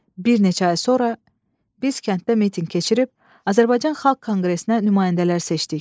Bir neçə ay sonra biz kənddə mitinq keçirib Azərbaycan Xalq Konqresinə nümayəndələr seçdik.